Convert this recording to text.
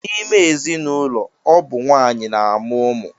N'ime ezinụlọ, ọ bụ nwaanyị na-amụ ụmụ.